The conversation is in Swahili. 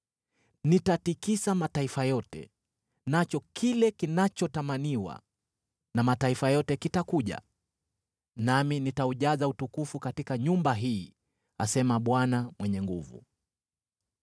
Nitatikisa mataifa yote, nacho kile kinachotamaniwa na mataifa yote kitakuja, nami nitaujaza utukufu katika nyumba hii,’ asema Bwana Mwenye Nguvu Zote.